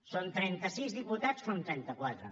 són trenta sis diputats enfront de trenta quatre